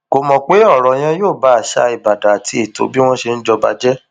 kò mọ pé ọrọ yẹn yóò ba àṣà ìbàdàn àti ètò bí wọn ṣe ń jọba jẹ